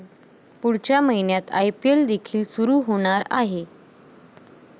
पुढच्या महिन्यात आयपीएल देखील सुरू होणार आहे.